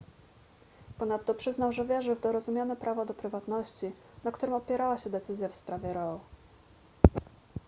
ponadto przyznał że wierzy w dorozumiane prawo do prywatności na którym opierała się decyzja w sprawie roe